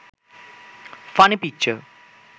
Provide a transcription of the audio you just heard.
funny picture